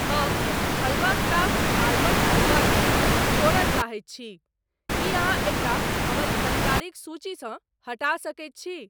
हम halwa Kraft almond halwa केँ छोड़य चाहैत छी, की अहाँ एकरा हमर खरीदारिक सूचीसँ हटा सकैत छी ?